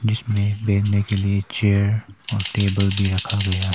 जिसमें बैठने के लिए चेयर और टेबल भी रखा गया--